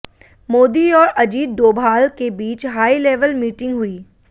मोदी और अजीत डोभाल के बीच हाईलेवल मीटिंग हुई